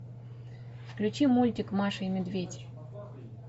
включи мультик маша и медведь